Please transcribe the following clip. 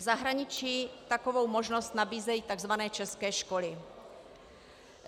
V zahraničí takovou možnost nabízejí tzv. české školy.